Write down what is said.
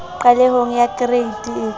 qalehong ya kereite e ka